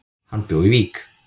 Hann bjó í Vík.